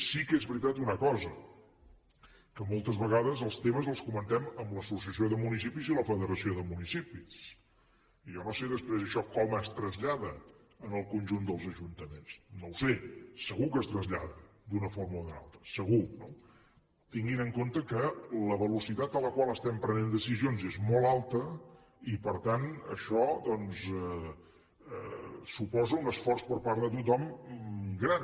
sí que és veritat una cosa que moltes vegades els temes els comentem amb l’associació de municipis i la federació de municipis i jo no sé després això com es trasllada al conjunt dels ajuntaments no ho sé segur que es trasllada d’una forma o d’una altra segur no tinguin en compte que la velocitat a la qual estem prenent decisions és molt alta i per tant això doncs suposa un esforç per part de tothom gran